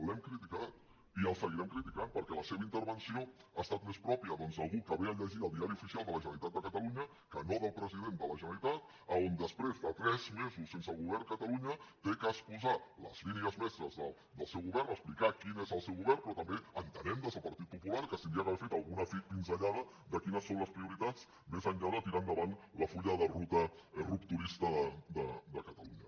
l’hem criticat i el seguirem criticant perquè la seva intervenció ha estat més pròpia doncs d’algú que ve a llegir el diari oficial de la generalitat de catalunya que no del president de la generalitat a on després de tres mesos sense govern catalunya ha d’exposar les línies mestres del seu govern explicar quin és el seu govern però també entenem des del partit popular que s’hauria d’haver fet alguna pinzellada de quines són les prioritats més enllà de tirar endavant el full de ruta rupturista de catalunya